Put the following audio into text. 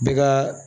Bɛ ka